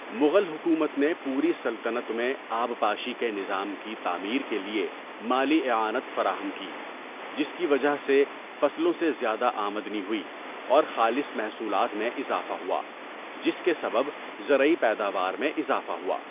مغل حکومت نے پوری سلطنت میں آبپاشی کے نظام کی تعمیر کے لیے مالی اعانت فراہم کی، جس کی وجہ سے فصلوں سے زیادہ آمدنی ہوئی اور خالص محصولات میں اضافہ ہوا، جس کے سبب زرعی پیداوار میں اضافہ ہوا۔